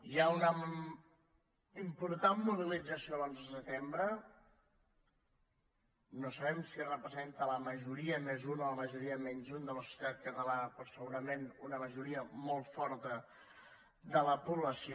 hi ha una important mobilització l’onze de setembre no sabem si representa la majoria més un o la majoria menys un de la societat catalana però segurament una majoria molt forta de la població